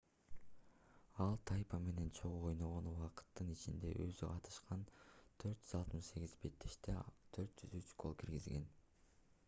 ал тайпа менен чогуу ойногон убакыттын ичинде өзү катышкан 468 беттеште 403 гол киргизген